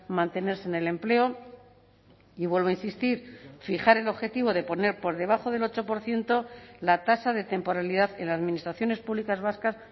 mantenerse en el empleo y vuelvo a insistir fijar el objetivo de poner por debajo del ocho por ciento la tasa de temporalidad en las administraciones públicas vascas